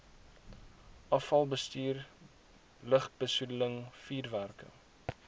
afvalbestuur lugbesoedeling vuurwerke